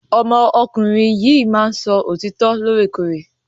Ọmọ ọkùnrin yìí máa ni sọ òtítọ lore kore.